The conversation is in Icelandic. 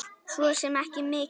Svo sem ekki mikið.